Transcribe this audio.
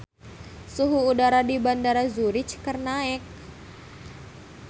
Suhu udara di Bandara Zurich keur naek